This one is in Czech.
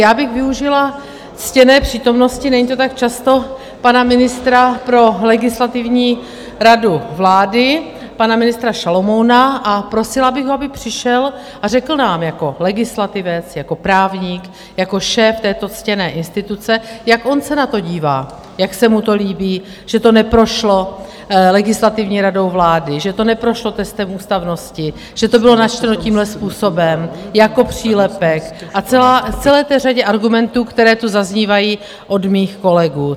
Já bych využila ctěné přítomnosti - není to tak často - pana ministra pro Legislativní radu vlády, pana ministra Šalomouna, a prosila bych ho, aby přišel a řekl nám jako legislativec, jako právník, jako šéf této ctěné instituce, jak on se na to dívá, jak se mu to líbí, že to neprošlo Legislativní radou vlády, že to neprošlo testem ústavnosti, že to bylo načteno tímhle způsobem jako přílepek, a celé té řadě argumentů, které tu zaznívají od mých kolegů.